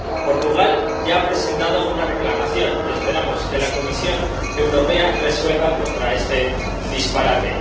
Portugal ya ha presentado una reclamación y esperamos que la Comisión Europea resuelva contra este disparate.